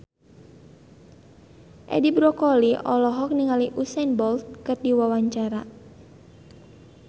Edi Brokoli olohok ningali Usain Bolt keur diwawancara